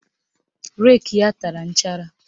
Reki ya tara nchara